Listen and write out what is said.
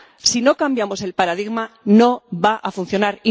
Si no cambiamos el paradigma, no va a funcionar.